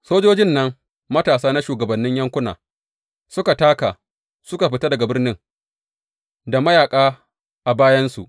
Sojojin nan matasa na shugabannin yankuna suka taka suka fita daga birnin da mayaƙa a bayansu.